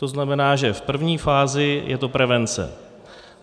To znamená, že v první fázi je to prevence.